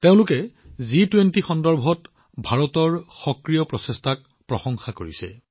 তেওঁলোকে জি২০ সন্দৰ্ভত ভাৰতৰ সক্ৰিয় প্ৰচেষ্টাক যথেষ্ট প্ৰশংসা কৰিছে